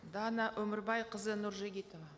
дана өмірбайқызы нұржігітова